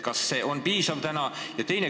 Kas see korraldus on ikkagi piisav?